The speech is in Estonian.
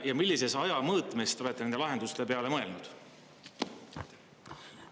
Ja millises ajamõõtmes te olete nende lahenduste peale mõelnud?